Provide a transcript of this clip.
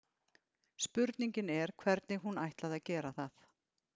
Spurningin er hvernig hún ætlaði að gera það.